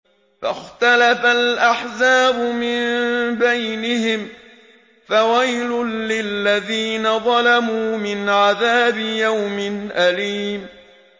فَاخْتَلَفَ الْأَحْزَابُ مِن بَيْنِهِمْ ۖ فَوَيْلٌ لِّلَّذِينَ ظَلَمُوا مِنْ عَذَابِ يَوْمٍ أَلِيمٍ